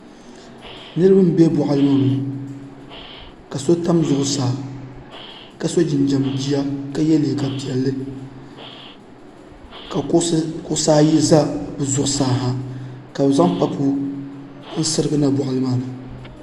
Niraba n bɛ boɣali ni ka si tam zuɣusaa ka so jinjɛm jia ka yɛ liiga piɛlli ka kuɣusi ayi ʒɛ bi zuɣusaa ha ka bi zaŋ pabu n sirigi niŋ boɣali maa ni